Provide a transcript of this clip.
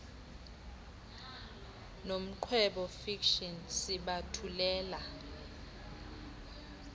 nomqwebo fiction sibathulela